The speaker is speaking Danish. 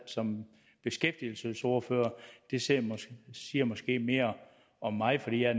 som beskæftigelsesordfører det siger siger måske mere om mig for jeg